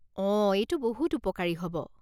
অঁ, এইটো বহুত উপকাৰী হ'ব।